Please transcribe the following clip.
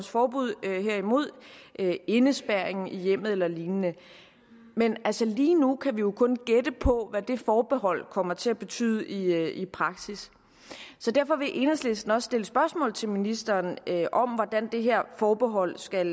forbud herimod indespærring i hjemmet eller lignende men lige nu kan vi jo kun gætte på hvad det forbehold kommer til at betyde i i praksis så derfor vil enhedslisten også stille spørgsmål til ministeren om hvordan det her forbehold skal